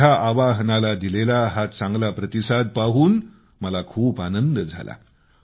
माझ्या आवाहनाला दिलेला हा चांगला प्रतिसाद पाहून मला खूप आनंद झाला